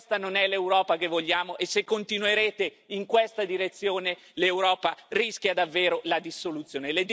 Questa non è l'Europa che vogliamo e se continuerete in questa direzione, l'Europa rischia davvero la dissoluzione.